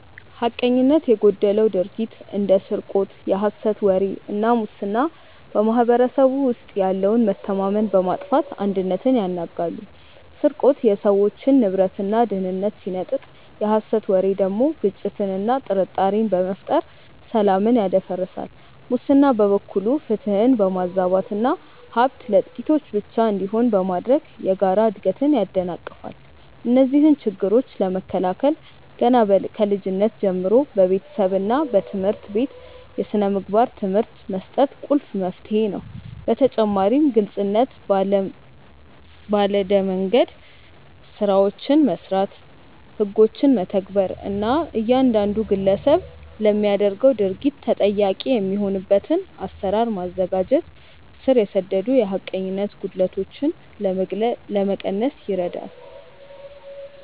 ሐቀኝነት የጎደለው ድርጊት እንደ ስርቆት፣ የሐሰት ወሬ እና ሙስና በማኅበረሰቡ ውስጥ ያለውን መተማመን በማጥፋት አንድነትን ያናጋሉ። ስርቆት የሰዎችን ንብረትና ደህንነት ሲነጥቅ፣ የሐሰት ወሬ ደግሞ ግጭትንና ጥርጣሬን በመፍጠር ሰላምን ያደፈርሳል። ሙስና በበኩሉ ፍትህን በማዛባትና ሀብት ለጥቂቶች ብቻ እንዲሆን በማድረግ የጋራ እድገትን ያደናቅፋል። እነዚህን ችግሮች ለመከላከል ገና ከልጅነት ጀምሮ በቤተሰብና በትምህርት ቤት የሥነ ምግባር ትምህርት መስጠት ቁልፍ መፍትሄ ነው። በተጨማሪም ግልጽነት ባለ መንደምገድ ስራዎችን መስራት፣ ህጎችን መተግበር እና እያንዳንዱ ግለሰብ ለሚያደርገው ድርጊት ተጠያቂ የሚሆንበትን አሰራር ማዘጋጀት ስር የሰደዱ የሐቀኝነት ጉድለቶችን ለመቀነስ ይረዳል።